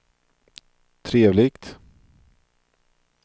trevligt